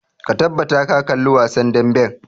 Ka tabbata ka kalli wasan damben!